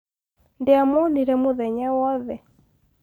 ndiamuonire mũthenya wothe